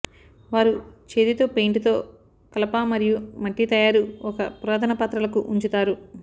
వారు చేతితో పెయింట్ తో కలప మరియు మట్టి తయారు ఒక పురాతన పాత్రలకు ఉంచుతారు